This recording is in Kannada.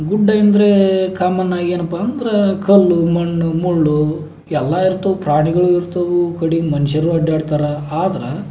ಗುಡ್ಡೆಂದ್ರೇ ಕಾಮನ್ ಆಗಿ ಏನಪ್ಪ ಅಂದ್ರೆ ಕಲ್ಲು ಮಣ್ಣು ಮುಳ್ಳು ಎಲ್ಲ ಇರ್ತಾವ್ ಪ್ರಾಣಿಗಳು ಇರ್ತವೂ ಕಡಿಗ್ ಮನ್ಷ್ಯರು ಅಡ್ಡಾರ್ತಾರ ಆದ್ರ --